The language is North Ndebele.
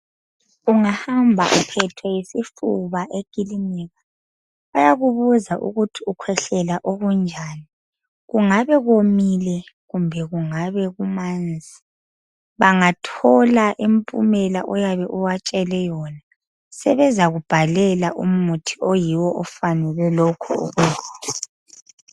Ungahamba uphethwe yisifuba ekilinika bayakubuza ukuthi ukhwehlela okunjani. Kungabe komile kumbe kungabe kumanzi. Bangathola impumela oyabe ubatshele yona sebezakubhalela umuthi oyiwo ofanele lokho ukugula.